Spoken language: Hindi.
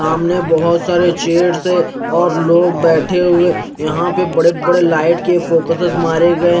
सामने अभोत सारे चेयर्स है और लोग बेठे हुए यहा लाइट के बहोत बड़े बड़े फोक्सस मारे गये।